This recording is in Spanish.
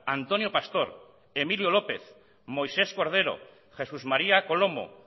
antonio pastor emilio lópez moisés cordero jesús maría colomo